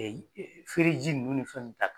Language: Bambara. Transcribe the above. feereji ninnu ni fɛn nun ni fɛn ta